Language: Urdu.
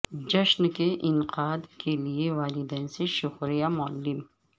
جشن کے انعقاد کے لیے والدین سے شکریہ معلم